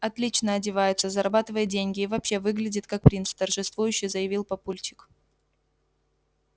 отлично одевается зарабатывает деньги и вообще выглядит как принц торжествующе заявил папульчик